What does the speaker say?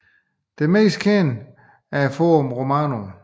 Det mest kendte er Forum Romanum